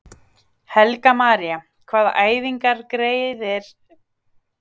Helga María: Hvaða æfingar geriði svona helst á meðan á meðgöngunni stendur?